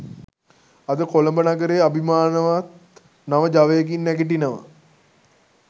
අද කොළඹ නගරය අභිමානවත් නව ජවයකින් නැගිටිනවා